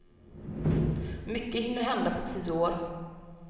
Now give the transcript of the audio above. Mycket hinner hända på tio år.